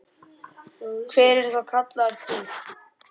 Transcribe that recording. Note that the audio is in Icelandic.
Hver er þá kallaður til?